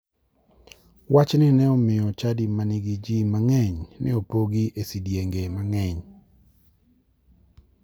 Wachni ne omiyo chadi ma nigi ji mang'eny ne opogi e sidienge mang'eny.